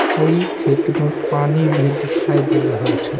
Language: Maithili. कई खेत में पानी भी दिखाई दे रहल छै।